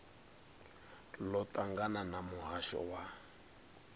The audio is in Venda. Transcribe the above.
ḽo ṱangana na muhasho wa